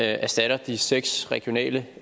erstatter de seks regionale